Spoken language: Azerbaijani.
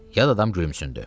Yad adam gülümsündü.